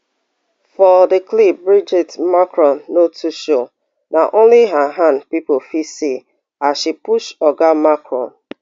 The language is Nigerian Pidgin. for di clip brigitte macron no too show na ony her hand pipo fit see as she push oga macron